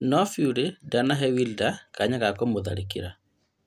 No Fury ndanahe Wilder kanya ga kũmũtharĩkĩra